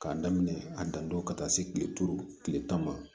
K'a daminɛ a dantɔ ka taa se kile duuru kile tan ma